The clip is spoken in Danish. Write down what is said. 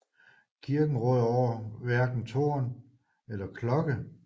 Kirken råder over hverken tårn eller klokke